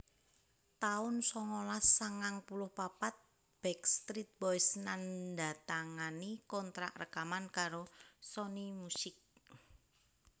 taun songolas sangang puluh papat Backstreet Boys nandatangani kontrak rekaman karo Sony Music